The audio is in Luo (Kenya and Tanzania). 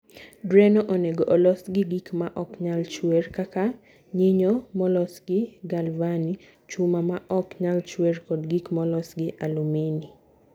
Drenno onego olos gi gik ma ok nyal chwer kaka nyinyo molos gi galvani, chuma ma ok nyal chwer, kod gik molos gi alumini.